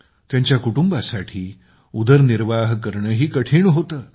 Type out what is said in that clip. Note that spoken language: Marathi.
तिच्या कुटुंबासाठी उदरनिर्वाह करणेही कठीण होते